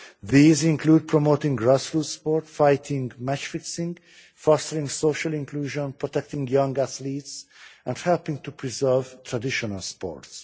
These include promoting grassroots sport, fighting match fixing, fostering social inclusion, protecting young athletes and helping to preserve traditional sports.